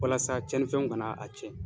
Walasa tiɲɛnifɛnw kana a tiɲɛ.